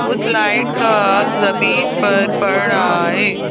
उस लाइट का आग जमीन पर पड़ रहा है।